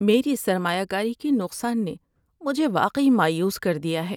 میری سرمایہ کاری کے نقصان نے مجھے واقعی مایوس کر دیا ہے۔